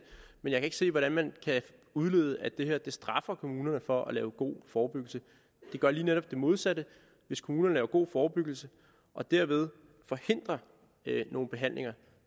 men jeg kan ikke se hvordan man kan udlede at det her straffer kommunerne for at lave god forebyggelse det gør lige netop det modsatte hvis kommunerne laver god forebyggelse og dermed forhindrer nogle behandlinger